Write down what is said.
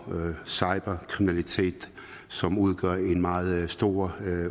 og cyberkriminalitet som udgør en meget stor